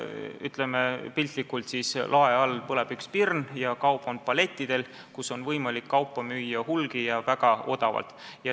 Ütleme piltlikult: lae all põleb üks pirn ja kaup on palletitel, müüa on võimalik hulgi ja väga odavalt.